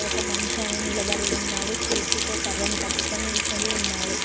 ఒక మనిషి అనే నిలబడి ఉన్నాడు చేతితో కర్రను పట్టుకొని నిల్చొని ఉన్నాడు.